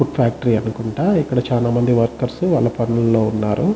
Food factory అనుకుంట.ఇక్కడ చాలా మంది వర్కర్స్ వాళ్ళ పనులో ఉన్నారు.